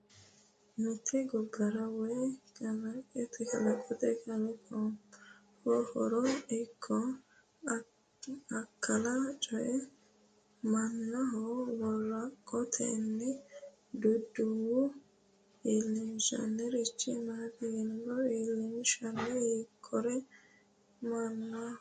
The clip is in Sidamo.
Mitte gobbara woy kalqete kalaqaminnoha haaro ikko akkala coy mannaho woraqatunni duduwo iilinshanniricho maati yinanni? iilinshiha ikkiro mannaho ma horo aanno?